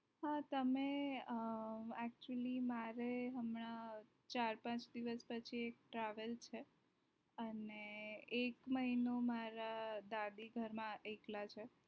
હા તમે અ actually મારે હમણાં ચાર પાચ દિવસ પછી travel છે અને એક મહિનો મારા દાદી ઘર માં એકલા છે.